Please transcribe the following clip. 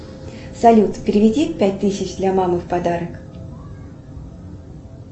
салют переведи пять тысяч для мамы в подарок